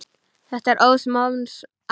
Þetta er óðs manns æði!